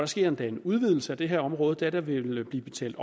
sker endda en udvidelse af det her område da der vil blive betalt